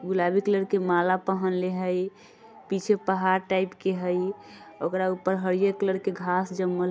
गुलाबी कलर के माला पहनले हई पीछे पहाड़ टाइप के हई ओकरा ऊपर हरियर कलर के घास जमल --